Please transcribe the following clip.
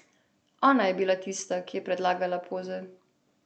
Ona je bila tista, ki je predlagala poze.